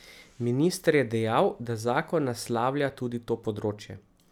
Minister je dejal, da zakon naslavlja tudi to področje.